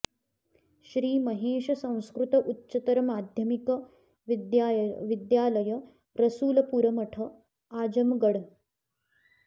श्री महेश संस्कृत उच्चतर माध्यमिक विद्यालय रसूलपुर मठ आजमगढ़